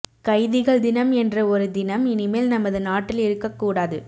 கைதிகள் தினம் என்ற ஒரு தினம் இனிமேல் நமது நாட்டில் இருக்கக் கூடாது